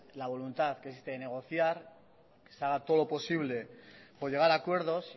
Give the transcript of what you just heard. la voluntad que es de negociar que se haga todo lo posible por llegar a acuerdos